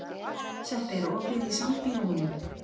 Sveppi, er opið í Sambíóunum?